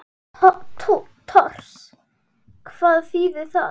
Tors. hvað þýðir það?